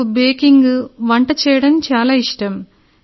నాకు బేకింగ్ వంట చేయడం చాలా ఇష్టం